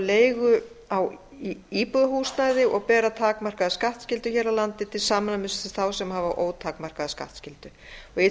leigu á íbúðarhúsnæði og bera takmarkaða skattskyldu hér á landi til samræmis við þá sem hafa ótakmarkaða skattskyldu í